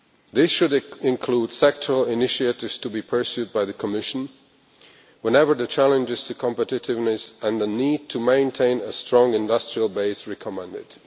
This should include sectoral initiatives to be pursued by the Commission whenever the challenges to competitiveness and the need to maintain a strong industrial base require it.